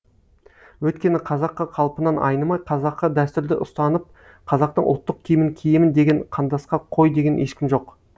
өйткені қазақы қалпымнан айнымай қазақы дәстүрді ұстанып қазақтың ұлттық киімін киемін деген қандасқа қой деген ешкім жоқ